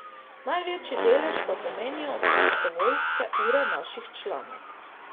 Največji delež pa pomenijo prostovoljske ure naših članov.